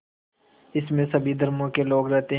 इसमें सभी धर्मों के लोग रहते हैं